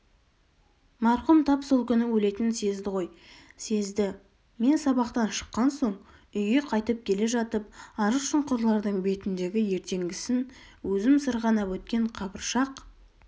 марқұм тап сол күні өлетінін сезді ғой сезді-і мен сабақтан шыққан соң үйге қайтып келе жатып арық-шұңқырлардың бетіндегі ертеңгісін өзім сырғанап өткен қабыршақ